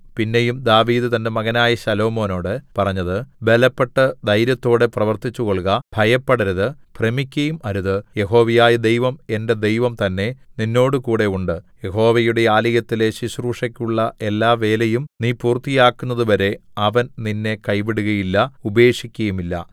പിന്നെയും ദാവീദ് തന്റെ മകനായ ശലോമോനോട് പറഞ്ഞത് ബലപ്പെട്ട് ധൈര്യത്തോടെ പ്രവർത്തിച്ചുകൊൾക ഭയപ്പെടരുത് ഭ്രമിക്കയും അരുത് യഹോവയായ ദൈവം എന്റെ ദൈവം തന്നേ നിന്നോടുകൂടെ ഉണ്ട് യഹോവയുടെ ആലയത്തിലെ ശുശ്രൂഷെക്കുള്ള എല്ലാവേലയും നീ പൂർത്തിയാക്കുന്നതുവരെ അവൻ നിന്നെ കൈവിടുകയില്ല ഉപേക്ഷിക്കയും ഇല്ല